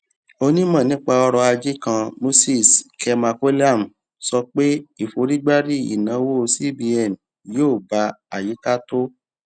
onímò nípa ọrọ ajé kan moses kemakolam sọ pé ìforígbárí ìnáwó cbn yóò ba àyíká tó